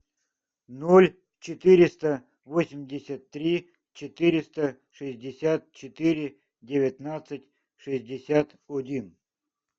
ноль четыреста восемьдесят три четыреста шестьдесят четыре девятнадцать шестьдесят один